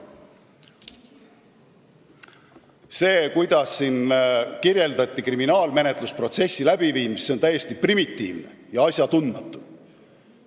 See, kuidas siin kirjeldati kriminaalmenetlusprotsessi läbiviimist, on täiesti primitiivne ja asjatundmatu.